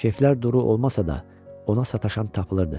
Keyiflər duru olmasa da, ona sataşan tapılırdı.